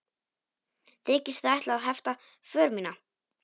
Þykist þið ætla að hefta för mína?